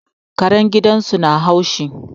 Karen gidan su na haushi